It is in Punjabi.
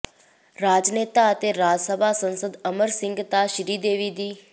ਰਾਜਨੇਤਾ ਅਤੇ ਰਾਜਸਭਾ ਸੰਸਦ ਅਮਰ ਸਿੰਘ ਤਾਂ ਸ਼੍ਰੀਦੇਵੀ ਦੀ